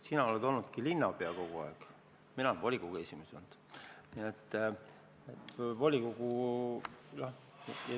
Sina oled kogu aeg olnud linnapea, mina olen olnud volikogu esimees.